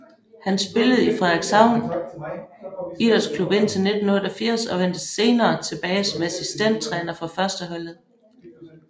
Han spillede i Frederikshavn IK indtil 1988 og vendte senere tilbage som assistenttræner for førsteholdet